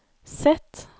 Z